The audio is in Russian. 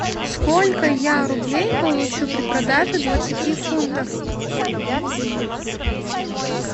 сколько я рублей получу при продаже двадцати фунтов